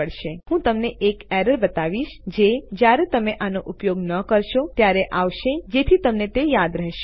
હવે હું તમને એક એરર બતાવીશ જે જ્યારે તમે આનો ઉપયોગ ન કરશો ત્યારે આવશે જેથી તમને તે યાદ રહશે